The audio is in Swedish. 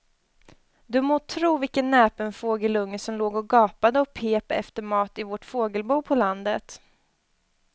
Du må tro vilken näpen fågelunge som låg och gapade och pep efter mat i vårt fågelbo på landet.